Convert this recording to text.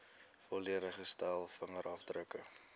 volledige stel vingerafdrukke